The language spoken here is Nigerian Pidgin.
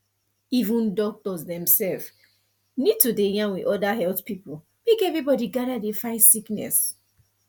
even doctors themself need to dey yarn with other health people make everybody gather dey fight sickness